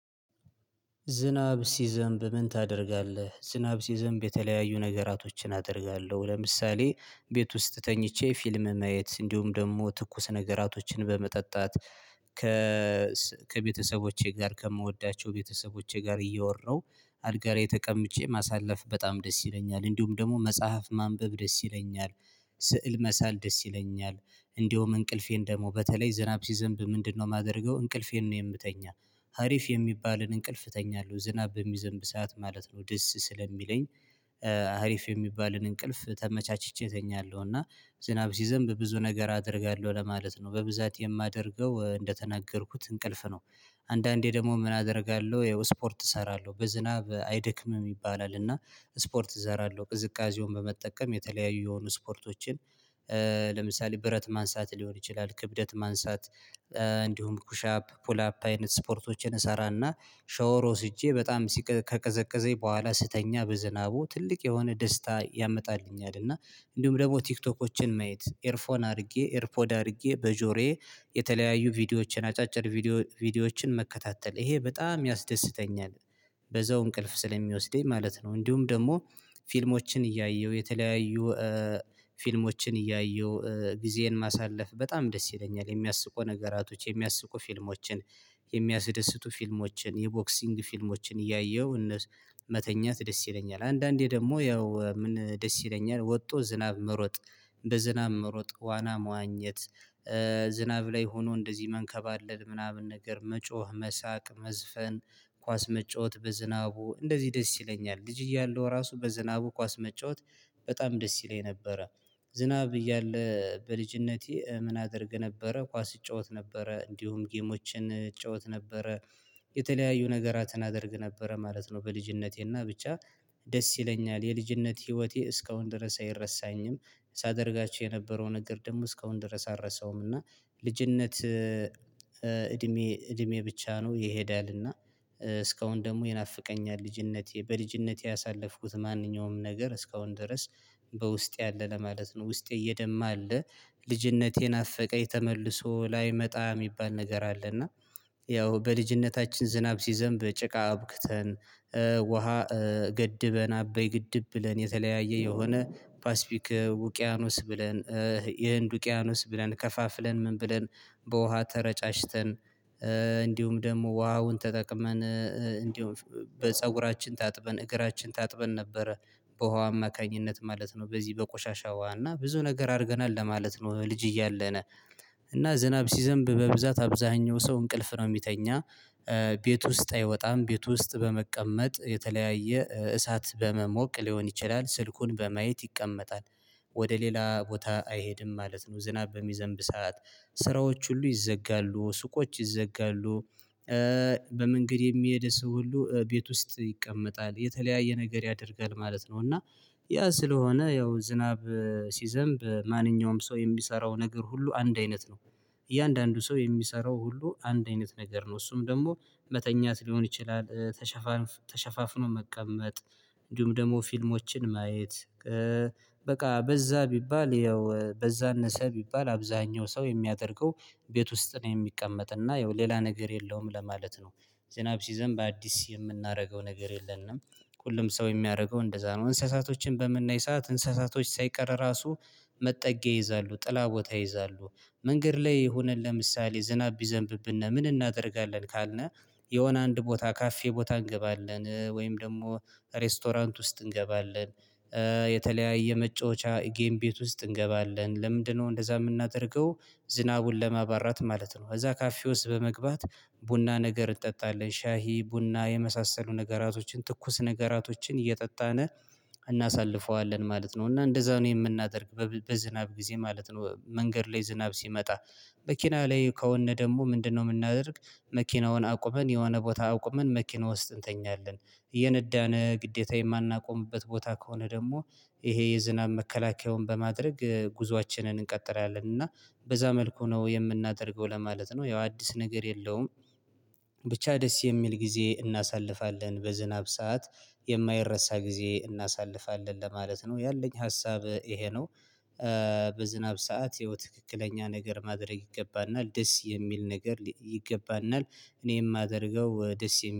ዝናብ ሲዘንብ ምን ታደርጋለህ? ዝናብ ሲዘንብ የተለያዩ ነገራቶችን አደርጋለሁ ለምሳሌ ቤት ውስጥ ተኝቼ ፊልም ማየት እንዲሁም ደግሞ ትኩስ ነገራቶችን በመጠጣት ከ ከቤተሰቦቼ ጋር ከምወዳቸው ቤተሰቦቼ ጋር እያወራሁ አልጋ ላይ ተቀምጬ ማሳለፍ በጣም ደስ ይለኛል እንዲሁም ደግሞ መጽሐፍ ማንበብ ደስ ይለኛል ስዕል መሳል ደስ ይለኛል እንደውም እንቅልፌን ደግሞ በተለይ ዝናብ ሲዘንብ ምንድነው የማደርገው እንቅልፌን ነው የምተኛ ሀሪፍ የሚባልን እንቅልፍ እተኛለሁ ዝናብ በሚዘንብ ሰዓት ማለት ነው ደስ ስለሚለኝ አሪፍ የሚባልን እንቅልፍ ተመቻችቼ እተኛለሁ እና ዝናብ ሲዘንብ ብዙ ነገር አደርጋለሁ ለማለት ነው በብዛት የማደርገው እንደተናገርኩት እንቅልፍ ነው አንዳንዴ ደግሞ ምን አደርጋለሁ ይኸው ስፖርት እሰራለሁ በዝናብ አይደክምም ይባላል እና ስፖርት እዘራለሁ ቅዝቃዜውን በመጠቀም የተለያዩ የሆኑ ስፖርቶችን ለምሳሌ ብረት ማንሳት ሊሆን ይችላል ክብደት ማንሳት ኩሻፕ ፑል አፕ አይነት ስፖርቶችን እሰራና ሻወር ወስጄ በጣም ሲቀ ከቀዘቀዘኝ በኋላ ስተኛ በዝናቡ ትልቅ የሆነ ደስታ ያመጣልኝ እና እንዲሁም ደግሞ ቲክቶኮችን ማየት ኤርፎን አድርጌ ኤርፖድ አድርጌ በጆሮዬ የተለያዩ ቪዲዮዎችን አጫጭር ቪዲዮ ቪዲዮዎችን መከታተል ይሄ በጣም ያስደስተኛል በዛው እንቅልፍ ስለሚወስደኝ ማለት ነው እንዲሁም ደግሞ ፊልሞችን እያየሁ የተለያዩ ፊልሞችን እያየሁ ጊዜን ማሳለፍ በጣም ደስ ይለኛል የሚያስቁ ነገራቶች የሚያስቁ ፊልሞችን የሚያስደስቱ ፊልሞችን የቦክሲንግ ፊልሞችን እያየሁ እነሱ መተኛት ደስ ይለኛል አንዳንዴ ደግሞ ያው ምን ደስ ይለኛል ወጥቶ ዝናብ መሮጥ እንደ ዝናብ መሮጥ ዋና መዋኘት ዝናብ ላይ ሆኖ እንደዚህ መንከባለል ምናምን ነገር መጮህ መሳቅ መዝፈን ኳስ መጫወት በዝናቡ እንደዚህ ደስ ይለኛል ልጅ እያለሁ ራሱ በዝናቡ ኳስ መጫወት በጣም ደስ ይለኝ ነበረ ዝናብ እያለ በልጅነቴ ምን አደርግ ነበረ ኳስ እጫወት ነበረ እንዲሁም ጌሞችን እጫዋት ነበረ የተለያዩ ነገራትን አደርግ ነበረ ማለት ነው በልጅነቴና ብቻ ደስ ይለኛል የልጅነት ህይወቴ እስካሁን ድረስ አይረሳኝም ሳደርጋቸው የነበረውን ነገር ደግሞ እስካሁን ድረስ አልረሰውም እና ልጅነት እድሜ እድሜ ብቻ ነው ይሄዳልና እስካሁን ደግሞ ይናፍቀኛል ልጅነቴ በልጅነቴ ያሳለፍኩት ማንኛውም ነገር እስካሁን ድረስ በውስጤ አለ ለማለት ነው ውስጤ እየደማ አለ ልጅነቴን ናፍቀኝ ተመልሶ ላይመጣ የሚባል ነገር አለ እና ያው በልጅነታችን ዝናብ ሲዘንብ ጭቃ አቡክተን ውሃ ገድበን አበይ ግድብ ብለን የተለያየ የሆነ ፓሲፊክ ውቅያኖስ ብለን የህንድ ውቅያኖስ ብለን ከፋፍለን ምን ብለን በውሃ ተረጫጭተን እንዲሁም ደግሞ ውሃውን ተጠቅመን እንዲሁም በፀጉራችን ታጥበን እግራችን ታጥበን ነበረ በውሃ አማካኝነት ማለት ነው በዚህ በቆሻሻ ውሃ እና ብዙ ነገር አድርገናል ለማለት ነው ልጅ እያለን እና ዝናብ ሲዘንብ በብዛት አብዛኛው ሰው እንቅልፍ ነው የሚተኛ ቤት ውስጥ አይወጣም ቤት ውስጥ በመቀመጥ የተለያየ እሳት በመሞቅ ሊሆን ይችላል ስልኩን በማየት ይቀመጣል፤ ወደ ሌላ ቦታ አይሄድም ማለት ነው ዝናብ በሚዘንብ ሰዓት ስራዎች ሁሉ ይዘጋሉ ሱቆች ይዘጋሉ በመንገድ የሚሄድ ሰው ሁሉ ቤት ውስጥ ይቀመጣል የተለያየ ነገር ያደርጋል ማለት ነው እና ያ ስለሆነ ያው ዝናብ ሲዘንብ ማንኛውም ሰው የሚሰራው ነገር ሁሉ አንድ አይነት ነው እያንዳንዱ ሰው የሚሰራው ሁሉ አንድ አይነት ነገር ነው እሱም ደግሞ መተኛት ሊሆን ይችላል ተሸፋፍኖ መቀመጥ እንዲሁም ደግሞ ፊልሞችን ማየት በቃ በዛ ቢባል ያው በዛ አነሰ ቢባል አብዛኛው ሰው የሚያደርገው ቤት ውስጥ ነው የሚቀመጥ እና ያው ሌላ ነገር የለውም ለማለት ነው ዝናብ ሲዘንብ አዲስ የምናደርገው ነገር የለንም ሁሉም ሰው የሚያደርገው እንደዛ ነው እንስሳቶችን በምናይ ሰዓት እንስሳቶች ሳይቀር ራሱ መጠጊያ ይይዛሉ ጥላ ቦታ ይይዛሉ መንገድ ላይ ሆነን ለምሳሌ ዝናብ ቢዘንብብና ምን እናደርጋለን ካልነህ የሆነ አንድ ቦታ ካፌ ቦታ እንገባለን ወይም ደግሞ ሬስቶራንት ውስጥ እንገባለን የተለያየ መጫወቻ ጌም ቤት ውስጥ እንገባለን ለምንድነው እንደዛ የምናደርገው ዝናቡን ለማባራት ማለት ነው እዛ ካፌ ውስጥ በመግባት ቡና ነገር እጠጣለሁ ሻሂ ቡና የመሳሰሉ ነገራቶችን ትኩስ ነገራቶችን እየጠጣነ እናሳልፈዋለን ማለት ነው እና እንደዛ ነው የምናደርግ በዝናብ ጊዜ ማለት ነው መንገድ ላይ ዝናብ ሲመጣ መኪና ላይ ከሆነ ደግሞ ምንድነው የምናደርግ መኪናውን አቁመን የሆነ ቦታ አቁመን መኪና ውስጥ እንተኛለን እየነዳነ ግዴታ የማናቆምበት ቦታ ከሆነ ደግሞ ይሄ የዝናብ መከላከያውን በማድረግ ጉዞአችንን እንቀጥላለን እና በዛ መልኩ ነው የምናደርገው ለማለት ነው ያው አዲስ ነገር የለውም ብቻ ደስ የሚል ጊዜ እናሳልፋለን በዝናብ ሰዓት የማይረሳ ጊዜ እናሳልፋለን ለማለት ነው ያለኝ ሀሳብ ይሄ ነው በዝናብ ሰዓት የትክክለኛ ነገር ማድረግ ይገባናል ደስ የሚል ነገር ይገባናል እኔ የማደርገው ደስ